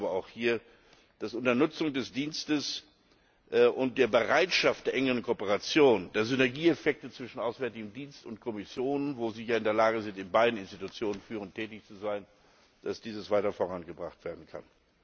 Aber ich glaube auch hier, dass dies unter Nutzung des Dienstes und der Bereitschaft zur engen Kooperation, der Synergieeffekte zwischen Auswärtigem Dienst und Kommission, wo Sie ja in der Lage sind, in beiden Institutionen führend tätig zu sein, weiter vorangebracht werden kann.